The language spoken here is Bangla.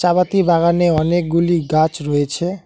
চাপাতি বাগানে অনেকগুলি গাছ রয়েছে।